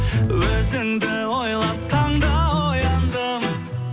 өзіңді ойлап таңда ояндым